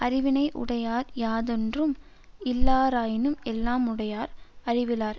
அறிவினை உடையார் யாதொன்றும் இல்லாராயினும் எல்லாமுடையர் அறிவிலார்